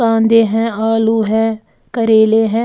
कांदे हैं आलू है करेले हैं।